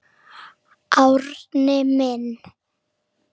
Árni minn.